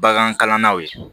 Bagan kalannaw ye